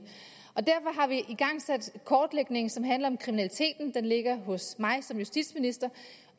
derfor har vi igangsat kortlægningen som handler om kriminaliteten den ligger hos mig som justitsminister